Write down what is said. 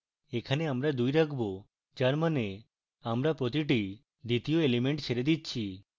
এখানে আমরা দুই রাখবো যার means আমরা প্রতি দ্বিতীয় element ছেড়ে দিচ্ছি